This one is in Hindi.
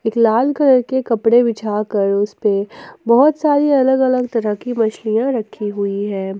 एक लाल कलर के कपड़े बिछाकर उस पे बहुत सारी अलग अलग तरह की मछलियां रखी हुई है।